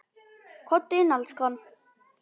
Komdu inn, elskan!